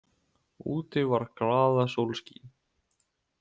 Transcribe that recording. Úti var glaðasólskin.